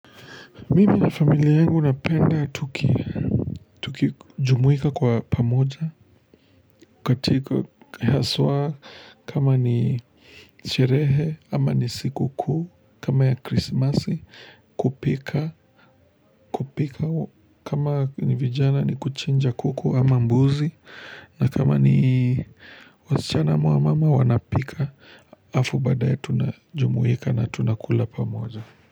Mimi na familia yangu napenda tuki jumuika kwa pamoja katika haswa kama ni sherehe ama ni sikukuu kama ya krismasi kupika kupika kama ni vijana ni kuchinja kuku ama mbuzi na kama ni wasichana mwa mama wanapika afu badae tunajumuika na tunakula pamoja.